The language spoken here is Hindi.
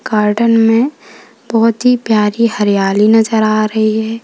गार्डन में बहुत ही प्यारी हरियाली नजर आ रही है।